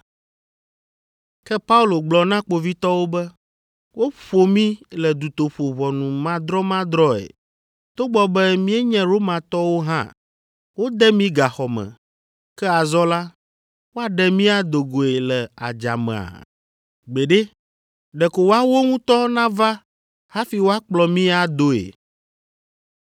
Ke Paulo gblɔ na kpovitɔwo be, “Woƒo mí le dutoƒo ʋɔnumadrɔmadrɔ̃e togbɔ be míenye Romatɔwo hã; wode mí gaxɔ me, ke azɔ la, woaɖe mí ado goe le adzamea? Gbeɖe! Ɖeko woawo ŋutɔ nava hafi woakplɔ mí adoe.”